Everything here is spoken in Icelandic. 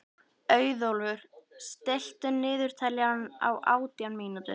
Auðólfur, stilltu niðurteljara á átján mínútur.